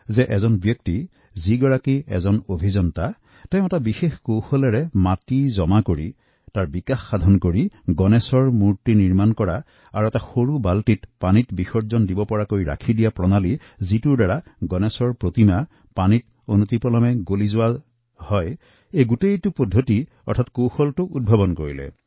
মোক কোনোৱা এজনে এনে এক ভদ্ৰ লোকৰ কথা কৈছিল যি নিজে এগৰাকী অভিযন্তা আৰু তেওঁ বিশেষ ধৰণৰ মাটি সংগ্ৰহ কৰি তাৰ সংমিশ্ৰণ ঘটাই গণেশৰ এনে মূৰ্তি বনাবলৈ আন একাংশক প্ৰশিক্ষণ দি আহিছে যি সৰু এক বালটি পানীতে বিসৰ্জন দিব পৰা যায় আৰু বিসৰ্জনৰ লগে লগে পানী লগত মিহলি হৈ যায়